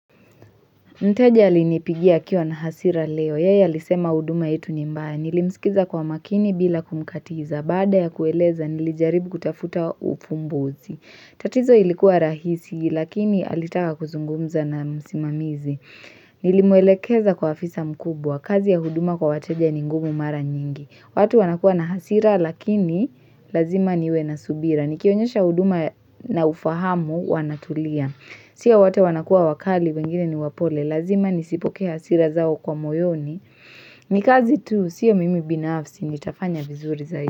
Mteja alinipigia akiwa na hasira leo. Yeye alisema huduma yetu nimbaya. Nilimsikiza kwa makini bila kumkatiza. Baada ya kueleza nilijaribu kutafuta ufumbuzi. Tatizo ilikuwa rahisi lakini alitaka kuzungumza na msimamizi. Nilimwelekeza kwa afisa mkubwa. Kazi ya huduma kwa wateja ningumu mara nyingi. Watu wanakuwa na hasira lakini lazima niwe na subira. Nikionyesha huduma na ufahamu wanatulia. Sio wote wanakuwa wakali wengine ni wapole, lazima nisipokee hasira zao kwa moyoni, ni kazi tu, sia mimi binafsi, nitafanya vizuri zaidi.